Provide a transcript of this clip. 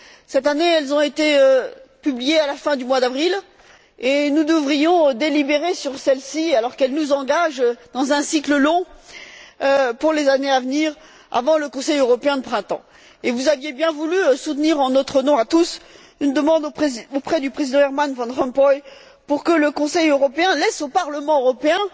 cette année, elles ont été publiées à la fin du mois d'avril et nous devrons délibérer sur celles ci, alors qu'elles nous engagent dans un cycle long pour les années à venir, avant le Conseil européen de printemps vous aviez bien voulu soutenir, en notre nom à tous, la demande que nous avons adressée au président Herman van Rompuy pour que le Conseil européen laisse au Parlement européen